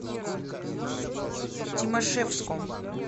тимашевском